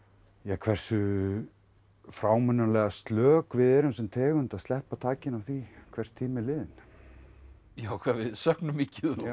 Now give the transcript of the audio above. hversu frámunalega slök við erum sem tegund að sleppa takinu á því hvers tími er liðinn já hvað við söknum mikið já